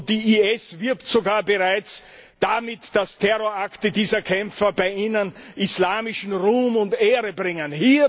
Die IS wirbt bereits sogar damit, dass Terrorakte dieser Kämpfer bei ihnen islamischen Ruhm und Ehre bringen.